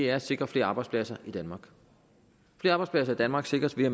er at sikre flere arbejdspladser i danmark flere arbejdspladser i danmark sikres ved at